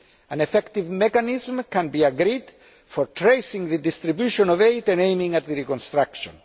An effective mechanism can be agreed for tracing the distribution of aid and aiming at the reconstruction.